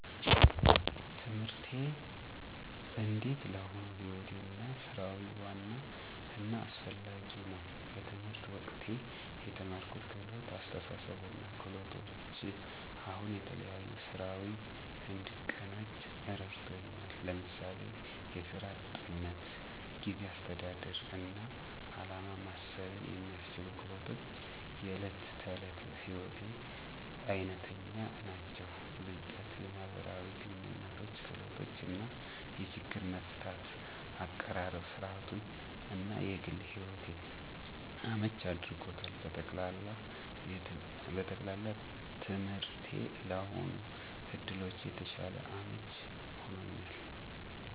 ትምህርቴ እንዴት ለአሁኑ ሕይወቴ እና ሥራዊ ዋና እና አስፋሚ ነው። በትምህርት ወቅቴ የተማርኩት ህልመት፣ አስተሳሰብ እና ክህሎቶች አሁን የተለያዩ ሥራዊ እንድቀናጅ እረድቱኛ። ለምሳሌ፣ የሥራ �ጥንትነት፣ ጊዜ አስተዳደር እና ዓላማ ማሰብን የሚያስችሉ ክህሎቶች � የእለት ተእለት ሕይወቴ አይነተኛ ናቸው። ብለጥ የማህበራዊ ግንኙነቶች ክህሎት እና የችግር መፍታት አቀራረብ ሥራዊቱን እና የግል ሕይወቴን አመቺ አድርጎታል። በጠቅላላ፣ ትምህርቴ ለአሁን ዕድሎቼ የተሻለ አመቺ ሆኖኛል።